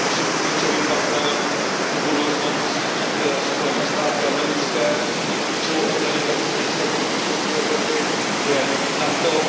to, že naším klíčovým partnerem do budoucna musí být Spojené státy americké, že klíčovou organizací z hlediska bezpečnosti Evropy je NATO.